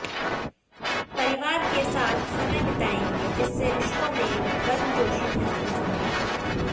परिवार के साथ समय बिताएंगे जिससे रिश्तों में गर्मजोशी महसूस होगी